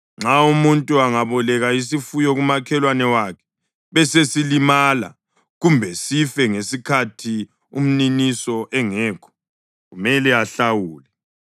Nxa umuntu angaboleka isifuyo kumakhelwane wakhe, besesilimala kumbe sife ngesikhathi umniniso engekho, kumele ahlawule.